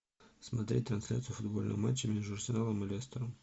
смотреть трансляцию футбольного матча между арсеналом и лестером